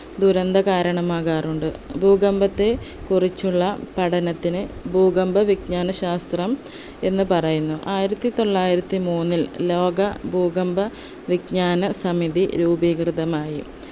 ദുരന്ത കാരണമാകാറുണ്ട് ഭൂകമ്പത്തെ കുറിച്ചുള്ള പഠനത്തിന് ഭൂകമ്പവിജ്ഞാന ശാസ്ത്രം എന്ന് പറയുന്നു ആയിരത്തി തൊള്ളായിരത്തി മൂന്നിൽ ലോക ഭൂകമ്പ വിജ്‍ഞാന സമിതി രൂപീകൃതമായി